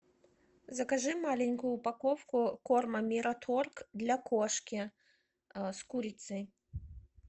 закажи маленькую упаковку корма мираторг для кошки с курицей